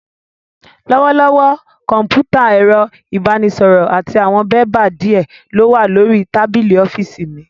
Lọ́wọ́lọ́wọ́, Kọ̀m̀pútà, ẹ̀rọ ìbánisọ̀rọ̀, àti àwọn bébà díè ló wà lórí tábìlì ọ́fíìsì mi